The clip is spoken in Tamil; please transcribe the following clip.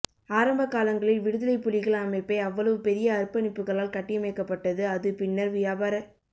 ஆரம்பகாலங்களில் விடுதலைப்புலிகள் அமைப்பை அவ்வளவு பெரிய அர்ப்பணிப்புக்களால் கட்டியமைக்கபட்டது அது பின்னர் வியாபாரச்